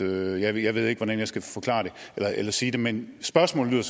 jeg ved ikke hvordan jeg skal sige det men spørgsmålet